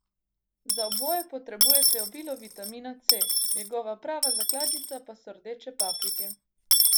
Za oboje potrebujete obilo vitamina C, njegova prava zakladnica pa so rdeče paprike.